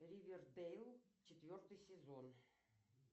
ривердэйл четвертый сезон